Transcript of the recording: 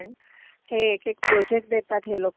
हे एक एक प्रोजेक्ट देतात हे लोकं,